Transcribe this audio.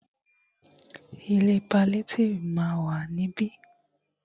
Ilé paliétífù ma wà ní ibí.